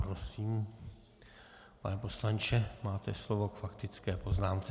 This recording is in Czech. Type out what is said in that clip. Prosím, pane poslanče, máte slovo k faktické poznámce.